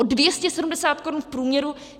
O 270 korun v průměru!